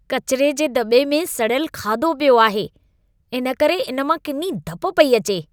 कचिरे जे दॿे में सड़ियल खाधो पियो आहे, इन करे इन मां किनी धप पेई अचे।